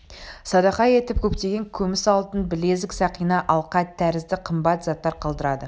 садақа етіп көптеген күміс алтын білезік сақина алқа тәрізді қымбат заттар қалдырады